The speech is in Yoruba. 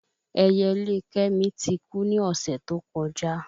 Ẹyẹlé kẹ́mi ti ku ni ọ̀sẹ̀ tó kọjá